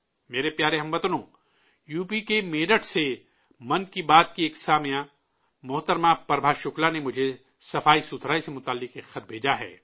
میرے پیارے ہم وطنو، یو پی کے میرٹھ سے 'من کی بات' کی ایک سامع محترمہ پربھا شکلا نے مجھے صفائی سے جڑا ایک خط بھیجا ہے